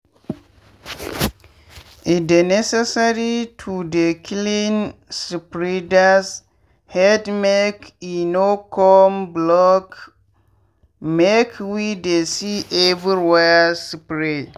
e dey necessary to dey clean spreaders headmake e no come blockmake we dey see everywhere spray.